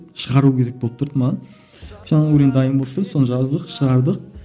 шығару керек болып тұрды маған жаңағы өлең дайын болып тұрды соны жаздық шығардық